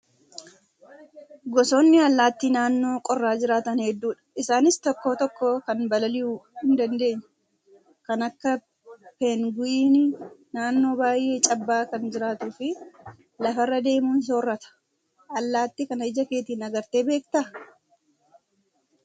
Gosoonni allaattii naannoo qorraa jiraatan hedduudha. Isaanis tokko tokko kan balali'uu hin dandeenye kan akka peengu'iinii naannoo baay'ee cabbaa'aa kan jiraatuu fi lafarra adeemuun soorata. Allaattii kana ija keetiin agartee beektaa?